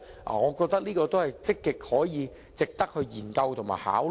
我覺得這值得積極研究和考慮。